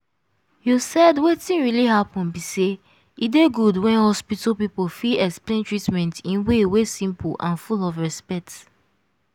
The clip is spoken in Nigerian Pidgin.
you said wetin really happen be say e dey good when hospital people fit explain treatment in way wey simple and full of respect.